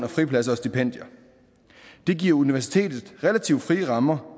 fripladser og stipendier det giver universitetet relativt frie rammer